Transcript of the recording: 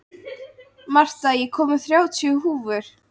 Marta, ég kom með þrjátíu húfur!